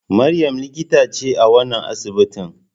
Maryam likita ce a wannan asibitin.